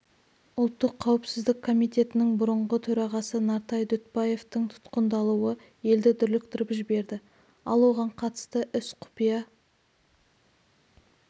ұлттық қауіпсіздік комитетінің бұрынғы төрағасы нартай дүтбаевтың тұтқындалуы елді дүрліктіріп жіберді ал оған қатысты іс құпия